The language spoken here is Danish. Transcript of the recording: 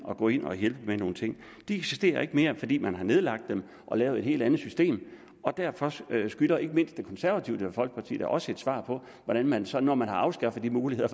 at gå ind og hjælpe med nogle ting det eksisterer ikke mere fordi man har nedlagt den og lavet et helt andet system og derfor skylder ikke mindst det konservative folkeparti da også et svar på hvordan man så når man har afskaffet de muligheder